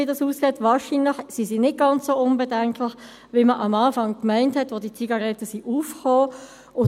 Wahrscheinlich sind sie nicht ganz so unbedenklich, wie man anfangs, als diese E-Zigaretten aufkamen, meinte.